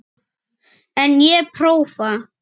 En ég prófa.